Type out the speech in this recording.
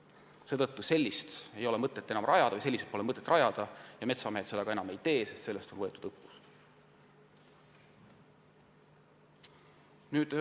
Seetõttu pole mõtet neid enam rajada ja metsamehed seda enam ka ei tee – sellest on õppust võetud.